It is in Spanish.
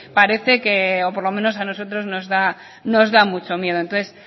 parece o por lo menos a nosotros nos da mucho miedo entonces